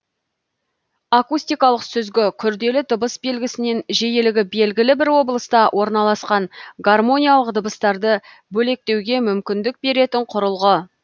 акустикалық сүзгі күрделі дыбыс белгісінен жиілігі белгілі бір облыста орналасқан гармоникалық дыбыстарды бөлектеуге мүмкіндік беретін құрылғы